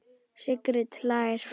Sigrid hlær.